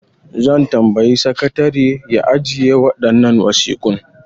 Zan tambayi sakatare ya ajiye waɗannan wasiƙun.